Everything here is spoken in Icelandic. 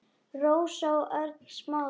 Rósa og Örn Smári.